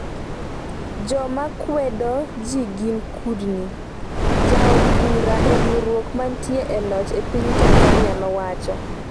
“Joma kwedo ji gin kudni” jaod bura e riwruok manitie e loch e piny Tanzania nowacho